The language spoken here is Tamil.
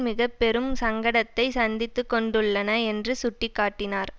மிக பெரும் சங்கடத்தை சந்தித்துக்கொண்டுள்ளன என்று சுட்டிகாட்டினார்